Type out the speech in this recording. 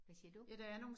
Hvad siger du?